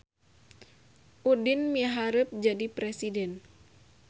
Udin miharep jadi presiden